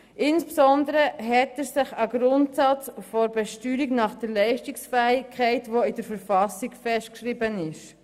Insbesondere hält er sich an den Grundsatz der Leistungsfähigkeit, der in der Verfassung festgeschrieben ist.